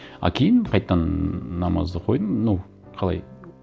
а кейін қайтадан намазды қойдым ну қалай